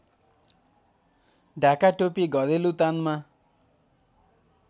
ढाकाटोपी घरेलु तानमा